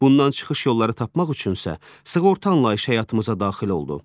Bundan çıxış yolları tapmaq üçünsə sığorta anlayışı həyatımıza daxil oldu.